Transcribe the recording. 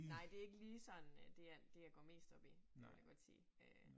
Nej det ikke lige sådan øh det jeg det jeg går mest op i vil jeg godt sige øh